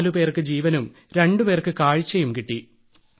നാലുപേർക്ക് ജീവനും രണ്ടുപേർക്ക് കാഴ്ചയും കിട്ടി